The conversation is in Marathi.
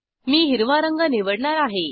मी हिरवा रंग निवडणार आहे